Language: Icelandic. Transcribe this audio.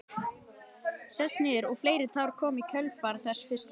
Sest niður og fleiri tár koma í kjölfar þess fyrsta.